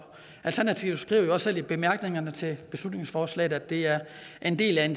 alternativet skriver selv i bemærkningerne til beslutningsforslaget at det er en del af